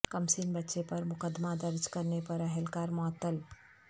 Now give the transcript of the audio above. کمسن بچے پر مقدمہ درج کرنے پر اہلکار معطل